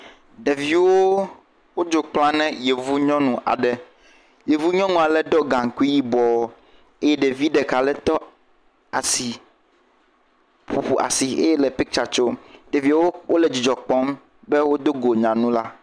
Ɖeviwo wodzo kpla ne yevunyɔnu aɖe, yevunyɔnu ale ɖɔ gaŋkui yibɔ eye ɖevi ɖeka aɖe ƒoƒu asi eye le piktsa tsom, ɖeviwo le dzidzɔ kpɔm be wodo go nyɔnu la.